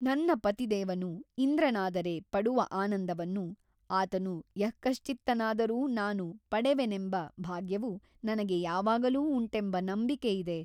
ನನ್ನ ಪತಿದೇವನು ಇಂದ್ರನಾದರೆ ಪಡುವ ಆನಂದವನ್ನು ಆತನು ಯಃಕಶ್ಚಿತ್ತನಾದರೂ ನಾನು ಪಡೆವೆನೆಂಬ ಭಾಗ್ಯವು ನನಗೆ ಯಾವಾಗಲೂ ಉಂಟೆಂಬ ನಂಬಿಕೆ ಇದೆ.